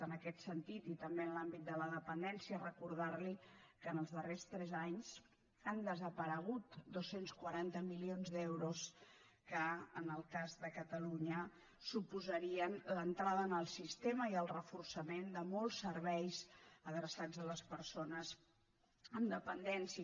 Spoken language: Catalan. en aquest sentit i també en l’àmbit de la dependència recordar li que en els darrers tres anys han desaparegut dos cents i quaranta milions d’euros que en el cas de catalunya suposarien l’entrada en el sistema i el reforçament de molts serveis adreçats a les persones amb dependència